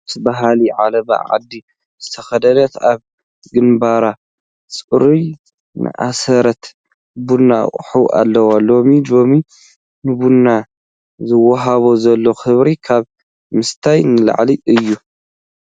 ደስ በሃሊ ዓለባ ዓዲ ዝተኸደነት፣ ኣብ ግንባራ ፅሩራ ዝኣሰረት ቡና ትቐድሕ ኣላ፡፡ ሎሚ ሎሚ ንቡና ዝወሃቦ ዘሎ ኽብሪ ካብ ምስታይ ንላዕሊ እዩ፡፡